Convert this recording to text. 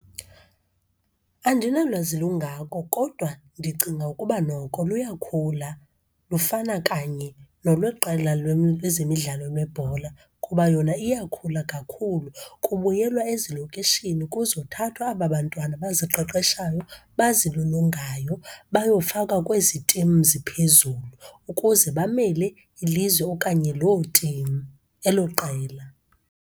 Andinalwazi lungako kodwa ndicinga ukuba noko luyakhula, lufana kanye nolweqela lwezemidlalo lwebhola kuba yona iyakhula kakhulu. Kubuyelwa ezilokishini kuzothathwa aba bantwana baziqeqeshayo, bazilolongayo bayofakwa kwezi timu ziphezulu ukuze bamele ilizwe okanye loo timu, elo qela.